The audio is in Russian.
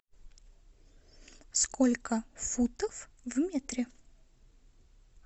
сколько футов в метре